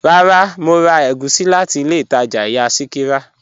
Rárá, Mo rà ègúsì láti ilẹ̀ Ìtaja ìyà Sikira.